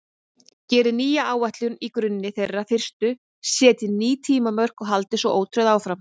Gerið nýja áætlun á grunni þeirrar fyrstu, setjið ný tímamörk og haldið svo ótrauð áfram.